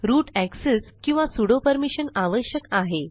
route access किंवा sudo permission आवश्यक आहे